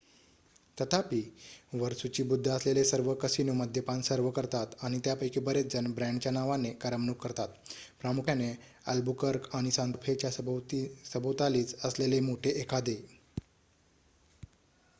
तथापि वर सूचीबद्ध असलेले सर्व कसिनो मद्यपान सर्व्ह करतात आणि त्यापैकी बरेचजण ब्रँडच्या नावाने करमणूक करतात प्रामुख्याने अल्बुकर्क आणि सांता फे च्या सभोवतालीच असलेले मोठे एखादे